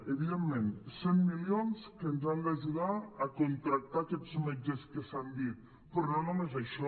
evidentment cent milions que ens han d’ajudar a contractar aquests metges que s’han dit però no només això